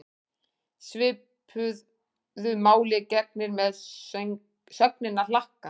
Svipuðu máli gegnir með sögnina hlakka.